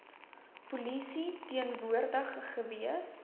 polisie teenwoordig gewees